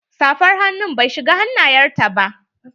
Safar hannu bai shiga hannayen ta ba.